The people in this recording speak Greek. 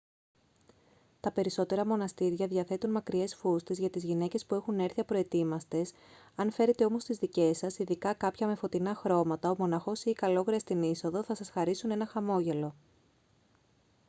τα περισσότερα μοναστήρια διαθέτουν μακριές φούστες για τις γυναίκες που έχουν έρθει απροετοίμαστες αν φέρετε όμως τις δικές σας ειδικά κάποια με φωτεινά χρώματα ο μοναχός ή η καλόγρια στην είσοδο θα σας χαρίσουν ένα χαμόγελο